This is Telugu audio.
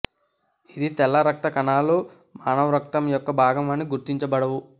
ఇది తెల్ల రక్త కణాలు మానవ రక్తం యొక్క భాగమని గుర్తించబడవు